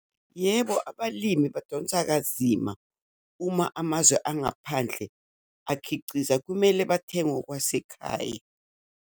Yebo, abalimi badonsa kanzima uma amazwe angaphandle akhiciza, kumele bathenge okwasekhaya.